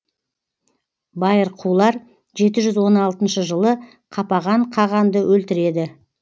байырқулар жеті жүз он алтыншы жылы қапаған қағанды өлтіреді